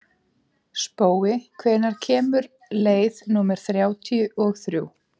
Spói, hvenær kemur leið númer þrjátíu og þrjú?